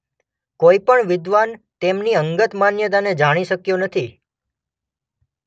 કોઈ પણ વિદ્વાન તેમની અંગત માન્યતાને જાણી શક્યો નથી.